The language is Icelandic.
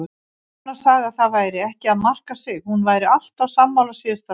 Rúna sagði að það væri ekki að marka sig, hún væri alltaf sammála síðasta ræðumanni.